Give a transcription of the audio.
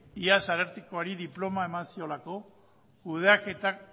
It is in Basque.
iaz arartekoari diploma eman ziolako kudeaketa